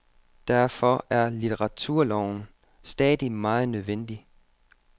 Derfor er litteraturloven stadig meget nødvendig.